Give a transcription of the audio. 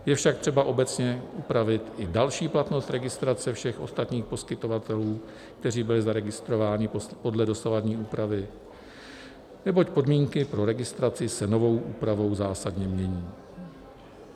Je však třeba obecně upravit i další platnost registrace všech ostatních poskytovatelů, kteří byli zaregistrováni podle dosavadní úpravy, neboť podmínky pro registraci se novou úpravou zásadně mění.